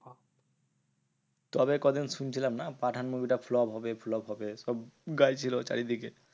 তবে কদিন শুনছিলাম না? পাঠান movie টা flop হবে flop হবে সব গাইছিলো চারিদিকে।